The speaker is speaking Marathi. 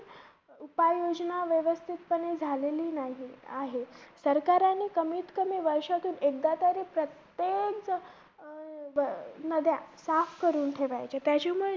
उपाय योजना व्यवस्थितपणे झालेली नाही आहेत. सरकाराने कमीतकमी वर्षातून एकदातरी प्रत्येक अं नद्या साफ करून ठेवायच्या. त्याच्यामुळे